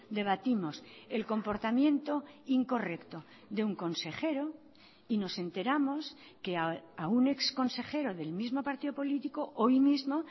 debatimos el comportamiento incorrecto de un consejero y nos enteramos que a un ex consejero del mismo partido político hoy mismo